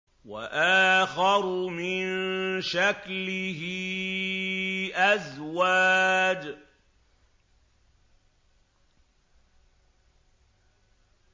وَآخَرُ مِن شَكْلِهِ أَزْوَاجٌ